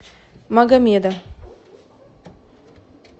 магомеда